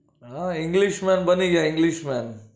હ english man બની ગયા english man